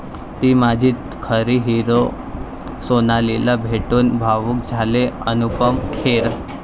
ती माझी खरी हीरो', सोनालीला भेटून भावूक झाले अनुपम खेर